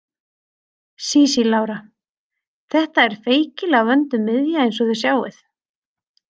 Sísí Lára: Þetta er feikilega vönduð miðja eins og þið sjáið.